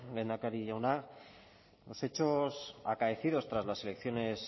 lehendakari jauna los hechos acaecidos tras las elecciones